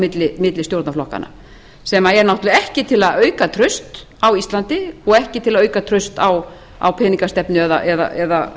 milli stjórnarflokkanna sem er ekki til að auka traust á íslandi og ekki til að auka traust á peningastefnu eða fjármálastefnunni eða